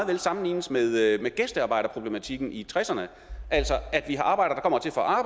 kan sammenlignes med gæstearbejderproblematikken i nitten tresserne altså at vi arbejde